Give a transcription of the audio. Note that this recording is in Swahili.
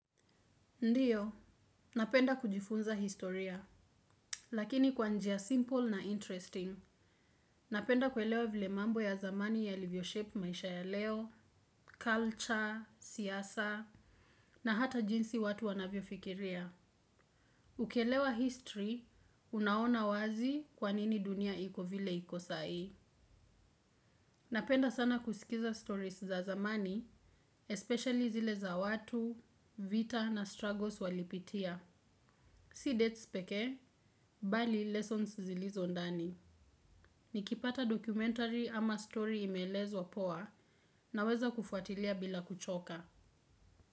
Ndiyo, napenda kujifunza historia, lakini kwa njia simple na interesting. Napenda kuelewa vile mambo ya zamani yalivyo shape maisha ya leo, culture, siyasa, na hata jinsi watu wanavyo fikiria. Ukielewa history, unaona wazi kwa nini dunia iko vile iko sai. Napenda sana kusikiza stories za zamani, especially zile za watu, vita na struggles walipitia. Si dates pekee, bali lessons zilizo ndani. Nikipata dokumentari ama story imelezwa poa naweza kufuatilia bila kuchoka.